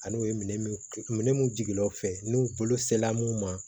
Ani u ye minɛ minnu minɛ minnu jigilaw fɛ n'u bolo sela mun ma